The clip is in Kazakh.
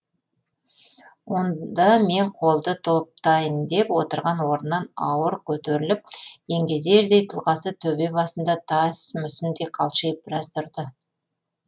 онда мен қолды топтайын деп отырған орнынан ауыр көтеріліп еңгезердей тұлғасы төбе басында тас мүсіндей қалшиып біраз тұрды